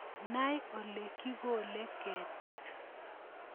Nai ole kokikole ketik